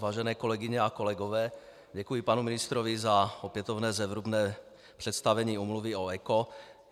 Vážené kolegyně a kolegové, děkuji panu ministrovi za opětovné zevrubné představení Úmluvy o ECO.